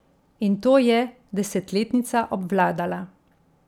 In to je desetletnica obvladala.